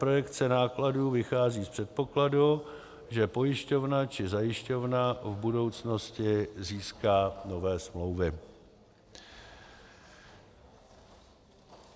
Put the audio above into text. Projekce nákladů vychází z předpokladu, že pojišťovna či zajišťovna v budoucnosti získá nové smlouvy.